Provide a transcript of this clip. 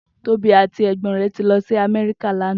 Tobi àtí ègbòn rè ti lòsí Amèriká lànã